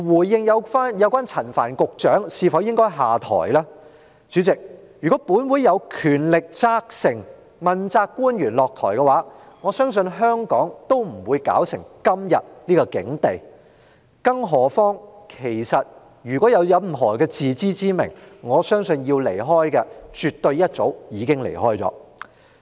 至於陳帆局長應否下台，主席，如果本會有權力要求問責官員下台，我相信香港也不會落得今天的境地；更何況，我相信任何人若有自知之明，要離開的，絕對早已離開了。